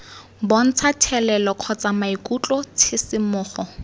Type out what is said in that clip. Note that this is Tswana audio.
bontsha thelelo kgotsa maikutlo tshisimogo